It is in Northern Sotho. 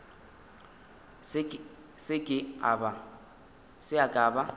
se ke a ba a